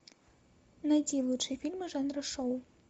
найти лучшие фильмы жанра шоу